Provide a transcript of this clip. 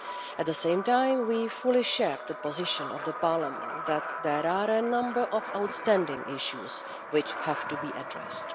At the same time we fully share the position of Parliament that there are a number of outstanding issues which have to be addressed.